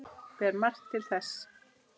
Ber margt til þess.